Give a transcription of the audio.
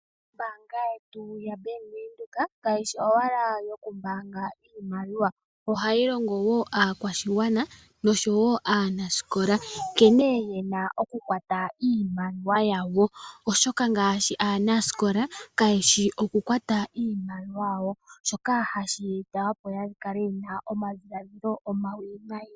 Ombanga yetu ya Bank Windhoek kayi owala yo ku mbaanga iimaliwa ohayi longo woo aakwashigwana no showo aanasikola nkene yena oku kwata iimaliwa yawo oshoka ngaashi aanaskola ka yeshi okukwata iimaliwa yawo shoka ha shee ta opo ya kale yena omadhiladhilo omawinayi.